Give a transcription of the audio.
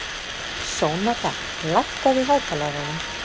Sónata, lækkaðu í hátalaranum.